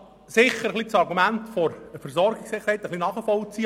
Ich kann das Argument der Versorgungssicherheit ein wenig nachvollziehen.